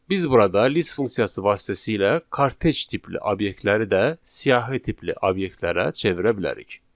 Biz burada list funksiyası vasitəsilə kortec tipli obyektləri də siyahı tipli obyektlərə çevirə bilərik.